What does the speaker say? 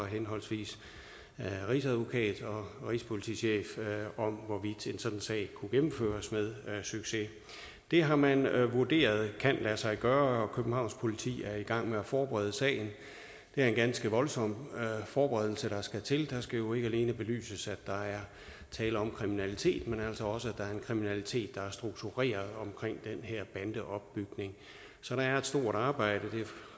henholdsvis rigsadvokaten og rigspolitichefen om hvorvidt en sådan sag kunne gennemføres med succes det har man vurderet kan lade sig gøre og politi er i gang med at forberede sagen det er en ganske voldsom forberedelse der skal til det skal jo ikke alene belyses at der er tale om kriminalitet men altså også at kriminalitet der er struktureret omkring den her bandeopbygning så det er et stort arbejde